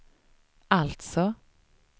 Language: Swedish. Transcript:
alltså